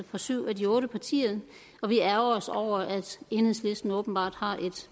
fra syv af de otte partier og vi ærgrer os over at enhedslisten åbenbart har et